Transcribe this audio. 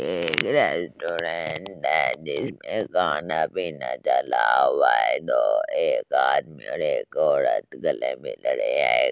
एक रेस्टोरेंट है जिसमे खाना पीना चला हुआ है तो एक आदमी और एक औरत गले मिल रहे है